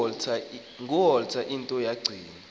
nguwalter into kacingo